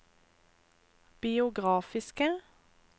biografiske